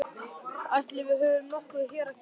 Ætli við höfum nokkuð hér að gera?